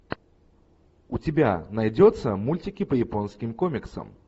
у тебя найдется мультики по японским комиксам